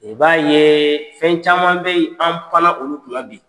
I b'a ye, fɛn caman bɛ yen , an panna olu kunna bi.